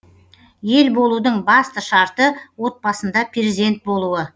ел болудың басты шартты отбасында перзент болуы